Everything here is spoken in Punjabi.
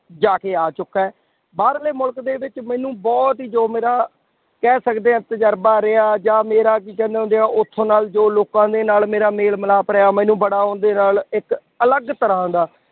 ਜਾ ਕੇ ਆ ਚੁਕਾ ਹੈਂ, ਬਾਹਰਲੇ ਮੁਲਕ ਦੇ ਵਿੱਚ ਮੈਨੂੰ ਬਹੁਤ ਹੀ ਜੋ ਮੇਰਾ ਕਹਿ ਸਕਦੇ ਹਾਂ ਤਜਰਬਾ ਰਿਹਾ ਜਾਂ ਮੇਰਾ ਕੀ ਕਹਿੰਦੇ ਹੁੰਦੇ ਹੈ ਉੱਥੋਂ ਨਾਲ ਜੋ ਲੋਕਾਂ ਦੇ ਨਾਲ ਮੇਰਾ ਮੇਲ ਮਿਲਾਪ ਰਿਹਾ ਮੈਨੂੰ ਬੜਾ ਉਹਦੇ ਨਾਲ ਇੱਕ ਅਲੱਗ ਤਰ੍ਹਾਂ ਦਾ